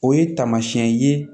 O ye tamasiyɛn ye